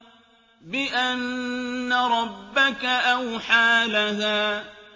بِأَنَّ رَبَّكَ أَوْحَىٰ لَهَا